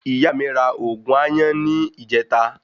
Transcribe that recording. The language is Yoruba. Ìyá mí ra ògùn àyàn ni ìjeta